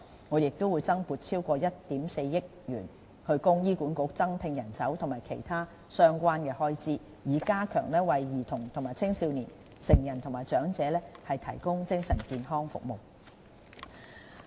我們亦會增撥超過1億 4,000 萬元，供醫管局增聘人手和應付其他相關開支，以加強為兒童及青少年、成人和長者提供的精神健康服務。